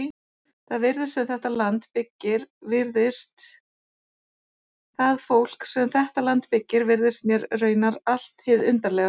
Það fólk sem þetta land byggir virðist mér raunar allt hið undarlegasta.